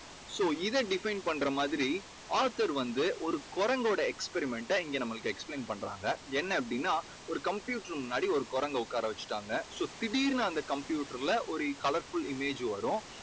so இதை define பண்ற மாதிரி author வந்து ஒரு குரங்கோட experiment ட இங்கே நம்மளுக்கு explain பண்றாங்க. என்ன அப்படீன்னா ஒரு computer முன்னாடி ஒரு குரங்கை உட்கார வெச்சுட்டாங்க. so திடீர்னு அந்த computer ல ஒரு colourful image வரும்.